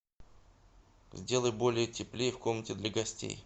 сделай более теплее в комнате для гостей